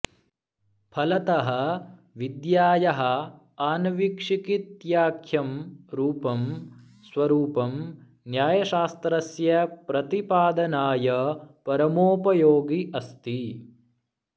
फलतः विद्यायाः आन्वीक्षिकीत्याख्यं रूपं स्वरूपं न्यायशास्त्रस्य प्रतिपादनाय परमोपयोगि अस्ति